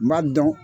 N b'a dɔn